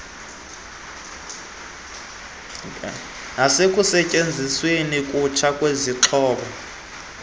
nasekusetyenzisweni kutsha kwezixhobo